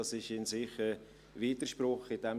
Dies wäre ein Widerspruch in sich.